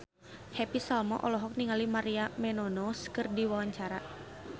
Happy Salma olohok ningali Maria Menounos keur diwawancara